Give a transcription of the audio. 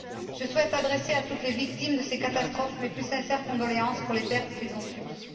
Je souhaite adresser à toutes les victimes de ces catastrophes mes plus sincères condoléances pour les pertes qu'elles ont subies.